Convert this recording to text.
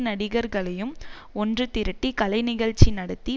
நடிகர்களையும் ஒன்று திரட்டி கலை நிகழ்ச்சி நடத்தி